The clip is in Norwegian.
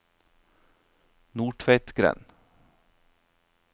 Nordtveitgrend